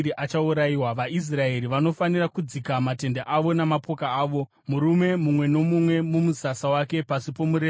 VaIsraeri vanofanira kudzika matende avo namapoka avo, murume mumwe nomumwe mumusasa wake pasi pomureza wokwake.